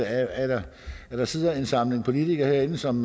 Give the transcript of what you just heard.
at der sidder en samling politikere herinde som